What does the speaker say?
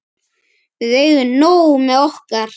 Við eigum nóg með okkar.